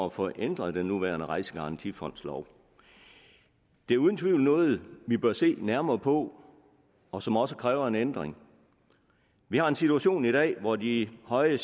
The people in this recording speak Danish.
at få ændret den nuværende rejsegarantifondslov det er uden tvivl noget vi bør se nærmere på og som også kræver en ændring vi har en situation i dag hvor de høje